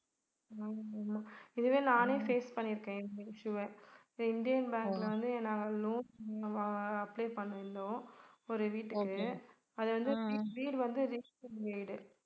இதுவே நானே face பண்ணிருக்கேன் இந்த issue அ இந்தியன் பேங்க்ல வந்து நாங்க loan அஹ் apply பண்ணிருந்தோம் ஒரு வீட்டுக்கு அது வந்து வீடு வந்து registered வீடு